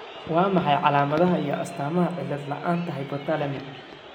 Waa maxay calaamadaha iyo astaamaha cillad la'aanta hypothalamic?